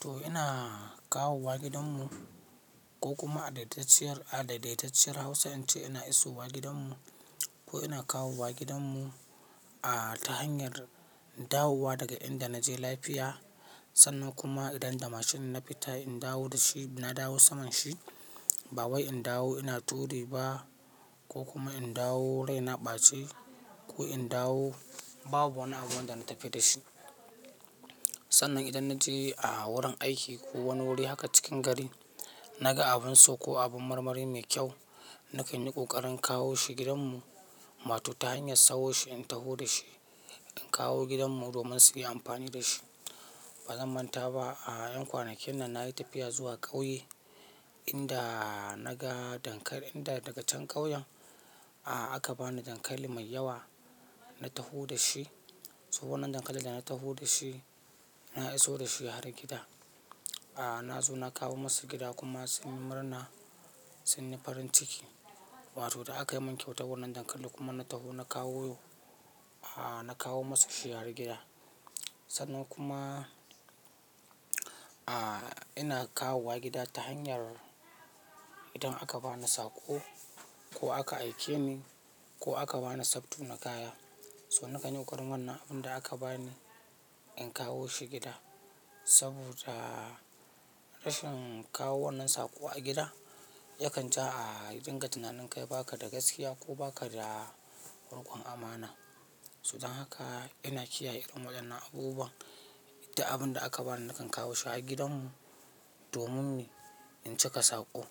To ina kawo wa gidanmu ko kuma a daidaitacciyar Hausa in ce ina iso wa gidanmu ko ina kawo wa gidanmu a ta hanyar dawowa daga inda na je lafiya. Sannan kuma idan da mashin na fita in dawo da shi, na dawo saman shi, ba wai in dawo ina turi ba ko kuma in dawo rai na ɓace ko in dawo babu wani abun da na tafi da shi. Sannan idan na je a wurin aiki ko wani wuri haka cikin gari, na ga abin so ko abin marmari mai kyau, na kan yi ƙoƙarin kawo shi gidanmu, ma to ta hanyar sauko shi in taho da shi in kawo gidanmu domin su yi amfani da shi. Ba zan manta ba a ƴan kwanakin nan na yi tafiya zuwa ƙauye inda na ga dankali inda daga can ƙauyen aka ba ni dankali mai yawa na taho da shi. So wannan dankalin da na taho da shi, na iso da shi har gida. Na zo na kawo masa gida kuma sun yi murna, sun yi farin ciki. Wato da aka yi min kyauta wannan dankalin kuma na taho na kawo, na kawo masa shi har gida. Sannan kuma ina kawo wa gida ta hanyar idan aka ba ni saƙo ko aka aike ni ko aka ba ni sabtu na kaya. So na kan yi ƙoƙarin wannan abin da aka ba ni in kawo shi gida. Saboda rashin kawo wannan saƙo a gida yakan jaa dinga tunanin kai baka da gaskiya ko baka da ruƙan amana. Sudan haka ina kiyaye irin waɗannan abubuwan, duk abin da aka ba ni na kan kawo shi har gidanmu domin in cika saƙo.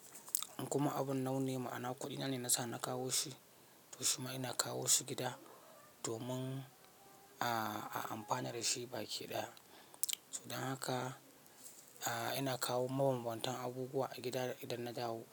Kuma abun nauyi, ma'ana kuɗi nan ne nasa na kawo shi. To shima ina kawo shi gida domin a amfana da shi baki daya. To dan haka ina kawo mabanbantan abubuwa a gida idan na dawo.